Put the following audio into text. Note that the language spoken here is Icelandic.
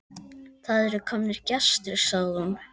Það eru komnir gestir, sagði hún.